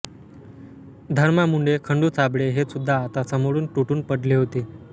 धरमा मुंढे खंडू साबळे हे सुद्धा आता समोरून तुटून पडले होते